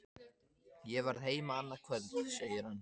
Ég verð heima annað kvöld, segir hann.